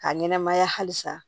K'a ɲɛnɛmaya halisa